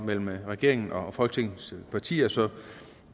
mellem regeringen og folketingets partier så jeg